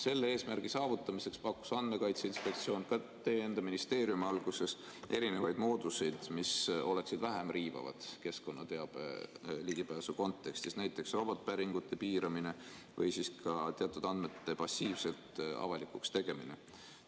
Selle eesmärgi saavutamiseks pakkus Andmekaitse Inspektsioon – ka teie enda ministeerium alguses – erinevaid mooduseid, mis oleksid vähem riivavad keskkonnateabe ligipääsu kontekstis, näiteks robotpäringute piiramine või siis ka teatud andmete passiivselt avalikuks tegemine.